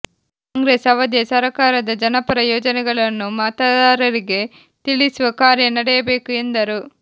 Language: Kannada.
ಕಾಂಗ್ರೇಸ್ ಅವಧಿಯ ಸರಕಾರದ ಜನಪರ ಯೋಜನೆಗಳನ್ನು ಮತದಾರರಿಗೆ ತಿಳಿಸುವ ಕಾರ್ಯ ನಡೆಯಬೇಕು ಎಂದರು